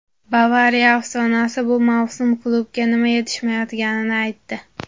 "Bavariya" afsonasi bu mavsum klubga nima yetishmayotganini aytdi;.